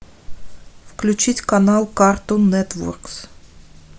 включить канал картун нетворк